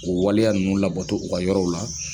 O waleya ninnu labato u ka yɔrɔw la.